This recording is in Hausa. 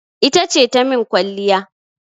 Ita ce ta min kwalliya.